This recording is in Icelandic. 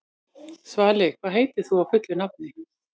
Svali, hvað heitir þú fullu nafni?